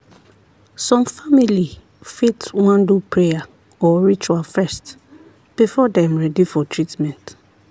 some family fit wan do prayer or ritual first before dem ready for treatment.